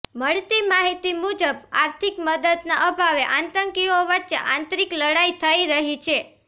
મળતી માહિતી મુજબ આર્થિક મદદના અભાવે આતંકીઓ વચ્ચે આંતરિક લડાઈ થઈ રહી છે